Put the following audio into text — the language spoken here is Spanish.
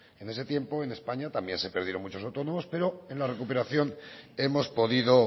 en ese tiempo en españa también se perdieron muchos autónomos pero en la recuperación hemos podido